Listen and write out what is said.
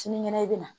Sinikɛnɛ i bɛ na